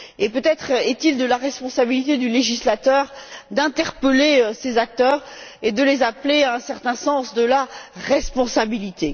Peut être est il de la responsabilité du législateur d'interpeller ces acteurs et de les appeler à un certain sens de la responsabilité.